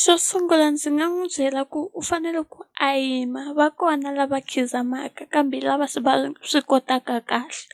Xo sungula ndzi nga n'wi byela ku u fanele ku a yima va kona lava khidzamaka kambe lava swi va swi kotaka kahle